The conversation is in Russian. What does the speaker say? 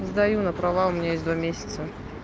сдаю на права у меня есть два месяца